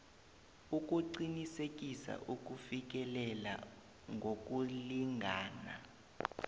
ukuqinisekisa ukufikelela ngokulingana